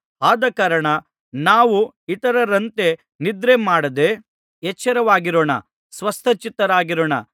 ಆದಕಾರಣ ನಾವು ಇತರರಂತೆ ನಿದ್ರೆಮಾಡದೆ ಎಚ್ಚರವಾಗಿರೋಣ ಸ್ವಸ್ಥಚಿತ್ತರಾಗಿರೋಣ